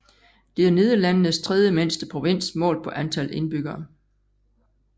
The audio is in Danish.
Det er Nederlandenes tredje mindste provins målt på antal indbyggere